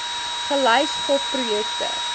gelys gop projekte